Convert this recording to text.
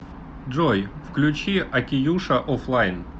джой включи океюша офлайн